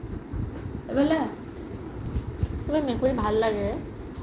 এইফালে আহ তুমাৰ মেকুৰি ভাল লাগে?